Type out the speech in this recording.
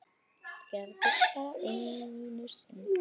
Það gerðist bara einu sinni.